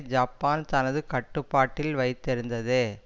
Japan தனது கட்டுப்பாட்டில் வைத்திருந்தது